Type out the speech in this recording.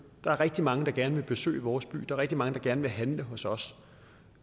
der er rigtig mange der gerne vil besøge vores by er rigtig mange der gerne vil handle hos os